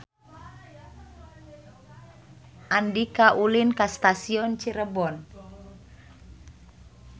Andika ulin ka Stasiun Cirebon